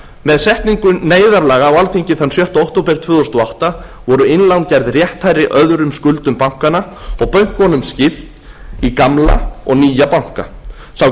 með setningu neyðarlaga á alþingi þann sjötta október tvö þúsund og átta voru innlán gerð rétthærri öðrum skuldum bankanna og bönkunum skipt í gamla og nýja banka sá